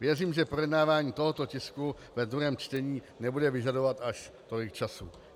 Věřím, že projednávání tohoto tisku ve druhém čtení nebude vyžadovat až tolik času.